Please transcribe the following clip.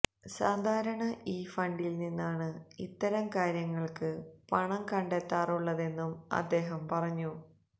സാധാരണ ഈ ഫണ്ടിൽനിന്നാണ് ഇത്തരം കാര്യങ്ങൾക്ക് പണം കണ്ടെത്താറുള്ളതെന്നും അദ്ദേഹം പറഞ്ഞു